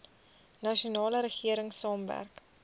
nasionale regering saamwerk